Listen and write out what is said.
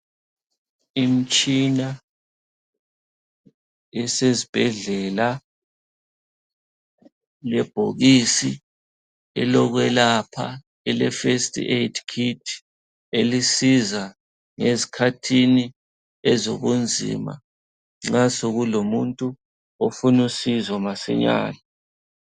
Imitshina esezibhedlela lebhokisi elokwelapha ele first aid kit, elisiza esikhathini ezobunzima nxa sokulumuntu ofunusizo masinyane.